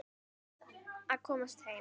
Varð að komast heim.